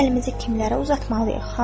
Biz əlimizi kimlərə uzatmalıyıq?